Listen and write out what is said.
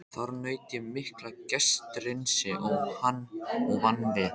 Þar naut ég mikillar gestrisni og vann vel.